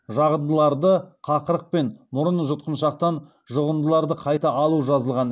жағындыларды қақырық пен мұрын жұтқыншақтан жұғындыларды қайта алу жазылған